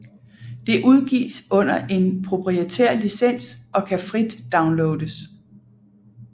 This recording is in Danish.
Det udgives under en proprietær licens og kan frit downloades